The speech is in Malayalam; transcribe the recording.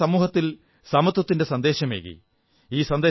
അദ്ദേഹം സമൂഹത്തിൽ സമത്വത്തിന്റെ സന്ദേശമേകി